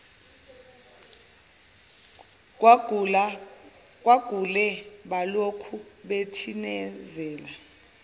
kwagule balokhu betinazele